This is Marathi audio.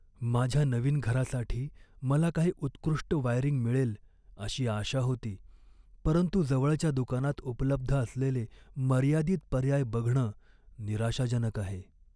माझ्या नवीन घरासाठी मला काही उत्कृष्ट वायरिंग मिळेल अशी आशा होती, परंतु जवळच्या दुकानात उपलब्ध असलेले मर्यादित पर्याय बघणं निराशाजनक आहे.